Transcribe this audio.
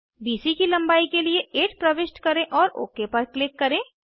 BC की लंबाई के लिए 8 प्रविष्ट करें और ओक पर क्लिक करें